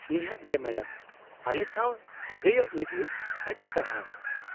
-ᱱᱤᱦᱟᱹᱛ ᱜᱮ , ᱢᱮᱰᱟᱢ ᱾ ᱟᱞᱮᱥᱟᱶ ᱥᱟᱹᱜᱟᱹᱭᱚᱜ ᱞᱟᱹᱜᱤᱫ ᱟᱹᱰᱤ ᱥᱟᱨᱦᱟᱣ ᱾